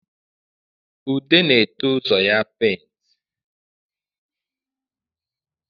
Ude na-ete ụzọ ya paint